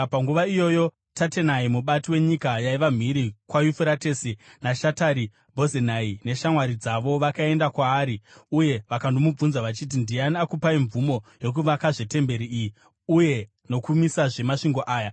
Panguva iyoyo Tatenai, mubati wenyika yaiva mhiri kwaYufuratesi, naShetari-Bhozenai neshamwari dzavo vakaenda kwaari uye vakandomubvunza, vachiti, “Ndiani akakupai mvumo yokuvakazve temberi iyi uye nokumisazve masvingo aya?”